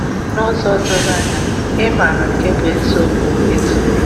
N'ụzọ doro anya, ịmara nke bụ́ eziokwu ezughị.